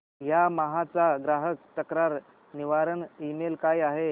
Yamaha चा ग्राहक तक्रार निवारण ईमेल काय आहे